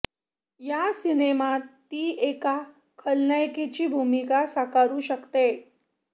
या सिनेमात ती एका खलनायिकेची भूमिका साकारू शकते